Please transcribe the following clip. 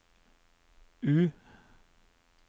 U